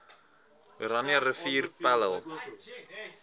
oranje rivier pella